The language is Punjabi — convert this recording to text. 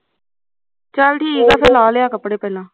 ਚੱਲ ਠੀਕ ਐ ਫਿਰ ਲਾ ਲਿਆ ਕੱਪੜੇ ਪਹਿਲਾਂ